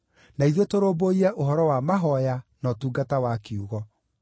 na ithuĩ tũrũmbũiye ũhoro wa mahooya na ũtungata wa kiugo.”